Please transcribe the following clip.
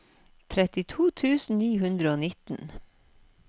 trettito tusen ni hundre og nitten